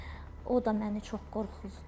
O da məni çox qorxuzdu.